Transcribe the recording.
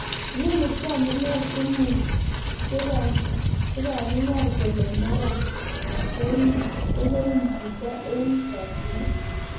Noni kwan munen sumu chepanginganyr kole mara kogeim jito en chakinet